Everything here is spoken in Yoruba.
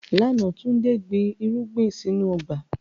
Lánà, Túndé gbìn irugbin sínu ọgba.